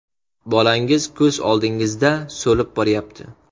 Bolangiz ko‘z oldingizda so‘lib boryapti.